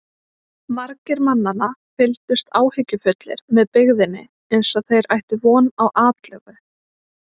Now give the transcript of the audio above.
Margir mannanna fylgdust áhyggjufullir með byggðinni eins og þeir ættu von á atlögu.